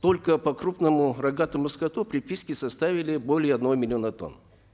только по крупному рогатому скоту приписки составили более одного миллиона тонн